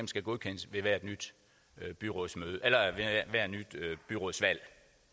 skal godkendes ved hvert nyt byrådsvalg byrådsvalg